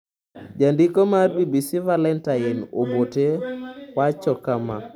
Jandiko mar BBC, Valentine Obote, wacho kama.